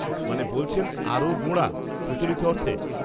-মানে বলছেন আরও গোঁড়া, প্রচলিত অর্থে?